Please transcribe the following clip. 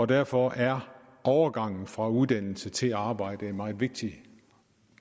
derfor er overgangen fra uddannelse til arbejde en meget vigtig